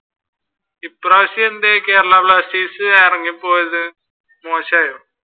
ഇപ്രാവശ്യം എന്തെ കേരള ബ്ലാസ്റ്റേഴ്‌സ് ഇറങ്ങി പോയത് മോശായോ?